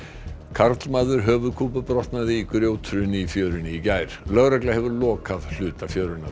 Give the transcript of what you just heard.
karlmaður höfuðkúpubrotnaði í grjóthruni í fjörunni í gær lögregla hefur lokað hluta fjörunnar